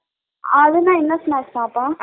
ஆளுனா என்ன snacks ஆத்தா ?